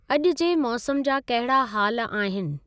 अॼुु जे मौसम जा कहिड़ा हाल आहिनि।